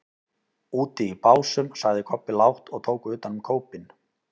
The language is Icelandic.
Úti í Básum, sagði Kobbi lágt og tók utan um kópinn.